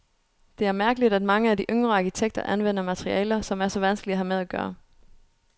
Det er mærkeligt at mange af de yngre arkitekter anvender materialer, som er så vanskelige at have med at gøre.